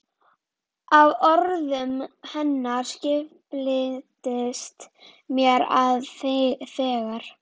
Af orðum hennar skildist mér að þegar